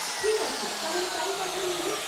ঠিক আছে, তাহলে তাই কথা রইল।